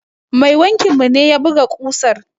Mai wankin mu ne ya buga ƙusan.